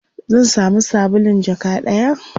zan samu sabulun jaka ɗaya?